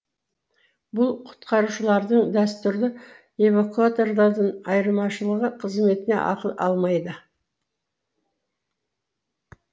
бұл құтқарушылардың дәстүрлі эвакуаторлардан айырмашылығы қызметіне ақы алмайды